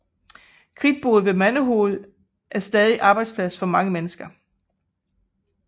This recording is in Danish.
Kridtbruddet ved Mandehoved er stadig arbejdsplads for mange mennesker